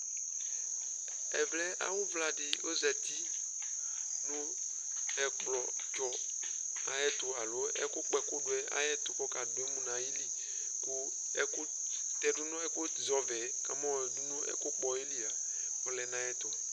ɛvɛ awu vla di ozati no ɛkplɔ tsɔ ayi ɛto alo ɛkò kpɔ ɛkò do yɛ ayi ɛto k'ɔka do emu n'ayili kò ɛkò tɛ do no ɛkò zɛ ɔvɛ yɛ k'ama ɔdu n'ɛkò kpɔ yɛ li a ɔlɛ n'ayi ɛto